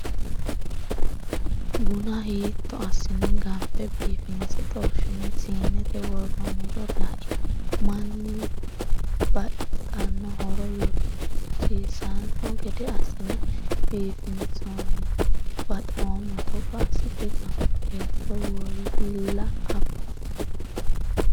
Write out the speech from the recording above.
Buna hiitto assine ganfe biifinse xorshine siinete worooniro lai manni baxano horo yogorsiisano gede assine biifinsonni baxoommo togo assite gafu beetto woyilla afo.